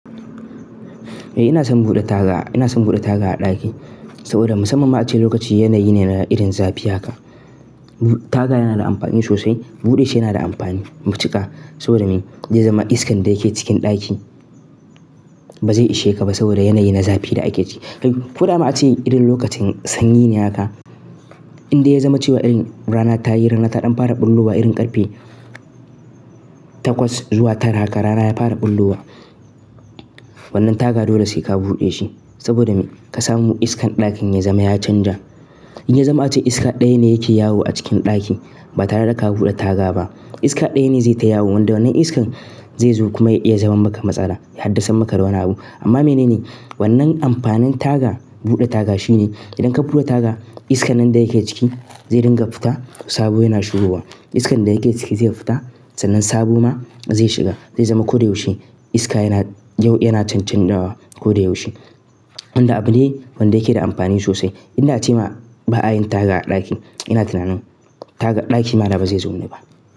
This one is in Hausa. Eh ina son bude taga, ina son bude taga a ɗaki saboda musamman ma ace lokaci yanayi ne na irin zafi haka. Taga yana da amfani sosai, buɗe shi yana da amfani matuƙa saboda me? Zaizama iskan da yake cikin ɗaki ba zai ishe ka ba saboda yanayi na zafi da ake ci. To, ko da ma a ce irin lokacin sanyi ne haka, in dai ya zama cewa irin rana ta yi rana ta ɗan fara ɓulɓuwa irin ƙarfe takwas zuwa tara haka rana ya fara ɓulluwa, wannan taga dole sai ka buɗe shi saboda me? Ka samu iskan ɗakin ya zama ya canja. Zai zama ace iska ɗayane yake yawo a cikin ɗakin ba tare da ka buɗe taga ba, iska ɗayane zai ta yawo wanda wannan iskan zai zo kuma ya iya zama maka matsala ya haddasarmaka da wani abu amma mene ne? Wannan amfanin taga, buɗe taga shine idan ka buɗe taga iskan nan da yake ciki zai dinga fita sabo yana shigowa. Iskan da yake ciki zai fita sannan sabo ma zai shiga zai zama koyaushe iska yana, yau yana cancanzawa koyaushe. Wanda abune wanda yake da amfani sosai. In da ce ma ba a yin taga a ɗaki ina tunanin taga ɗaki ma da ba zai zaunu ba.